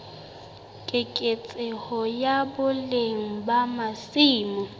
keketseho ya boleng ba masimo